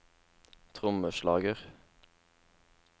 trommeslager